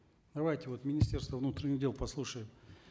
давайте вот министерство внутренних дел послушаем